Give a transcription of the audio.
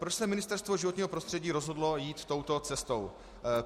Proč se Ministerstvo životního prostředí rozhodlo jít touto cestou?